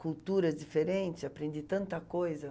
culturas diferentes, aprendi tanta coisa.